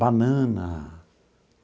Banana.